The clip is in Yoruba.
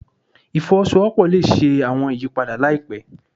Ifowosowopo le ṣe awọn iyipada laipẹ